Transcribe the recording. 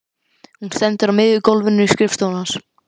Hún stendur á miðju gólfinu á skrifstofunni hans.